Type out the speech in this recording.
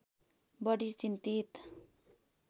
बढी चिन्तित